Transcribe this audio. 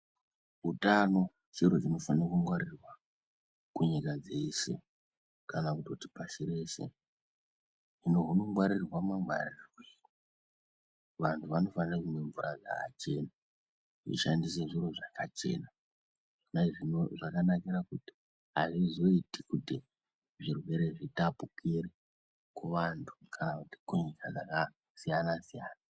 Utano chiro chinofane kungwaririrwa kunyika dzese kana kutoti pashi reshe. Hino hunongwaririrwa mangwaririrwei. Vanhu vanofane kumwe mvura dzakachena, kushandise zviro zvakachena. Zvakanakire kuti hazvizoiti kutj zvirwere zvitapukire kuvantu kana kunyika dzakasiyana siyana.